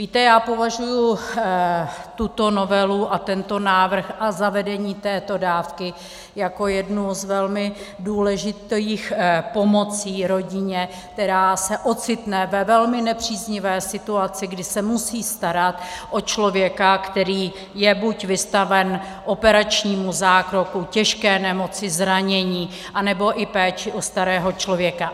Víte, já považuji tuto novelu a tento návrh a zavedení této dávky jako jednu z velmi důležitých pomocí rodině, která se ocitne ve velmi nepříznivé situaci, kdy se musí starat o člověka, který je buď vystaven operačnímu zákroku, těžké nemoci, zranění, nebo i péči o starého člověka.